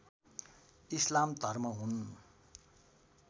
इस्लाम धर्म हुन्